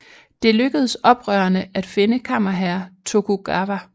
Det lykkedes oprørerne at finde kammerherre Tokugawa